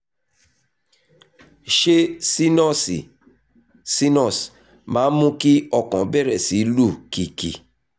ṣé sínọ́ọ̀sì sinus máa ń mú kí ọkàn bẹ̀rẹ̀ sí lù kìkì?